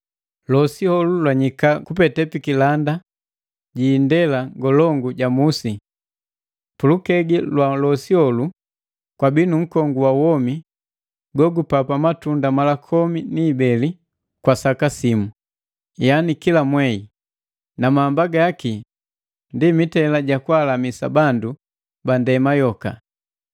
Losi heji janyika kupete pikilanda indela ngolongu ja Musi. Pulukegi ja losi heji kwabii nu nkongu wa womi gogu papa matunda mala komi ni ibeli kwa saka simu, yani kila mwei na mahamba gaki ndi mitela ja kwaalamisa bandu ba ndema yoka.